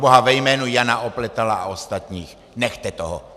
Proboha, ve jménu Jana Opletala a ostatních, nechte toho.